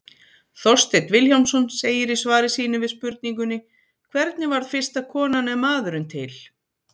Þorsteinn Vilhjálmsson segir í svari sínu við spurningunni Hvernig varð fyrsta konan eða maðurinn til?